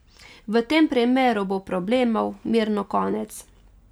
V tem primeru bo problemov mirno konec.